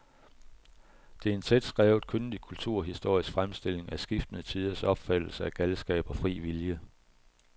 Det er en tætskrevet, kyndig kulturhistorisk fremstilling af skiftende tiders opfattelse af galskab og fri vilje.